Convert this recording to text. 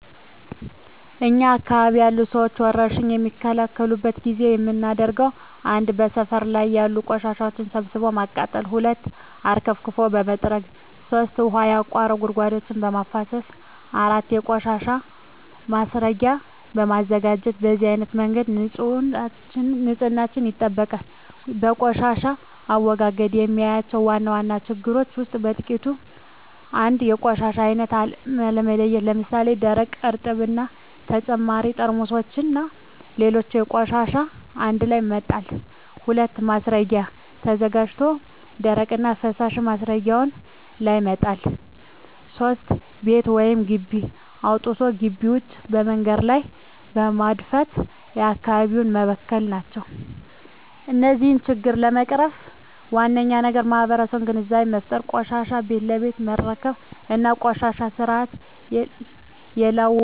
እኛ አካባቢ ያሉ ሠዎች ወርሽኝ በሚከሰትበት ጊዜ የምናደርገው 1. ሠፈር ላይ ያሉ ቆሻሻዎችን ሠብስቦ በማቃጠል 2. ውሀ አርከፍክፎ በመጥረግ 3. ውሀ ያቋቱ ጉድጓዶችን በማፋሠስ 4. የቆሻሻ ማስረጊያ በማዘጋጀት በነዚህ አይነት መንገድ ንፅህናቸውን ይጠብቃሉ። በቆሻሻ አወጋገድ የማያቸው ዋና ዋና ችግሮች ውስጥ በጥቂቱ 1. የቆሻሻ አይነት አለመለየት ለምሣሌ፦ ደረቅ፣ እርጥብ እና በተጨማሪ ጠርሙስና ሌሎች ቆሻሻዎችን አንድላይ መጣል። 2. ማስረጊያ ተዘጋጅቶ ደረቅና ፈሣሽ ማስረጊያው ላይ መጣል። 3. ቤት ወይም ግቢ አፅድቶ ግቢ ውጭ መንገድ ላይ በመድፋት አካባቢውን መበከል ናቸው። እነዚህን ችግሮች ለመቅረፍ ዋናው ነገር ለማህበረሠቡ ግንዛቤ መፍጠር፤ ቆሻሻን ቤት ለቤት መረከብ እና ቆሻሻን በስርአት የላስወገደን ሠው መቅጣት። እደዚህ እርምጃዎች መውሠድ አለብን።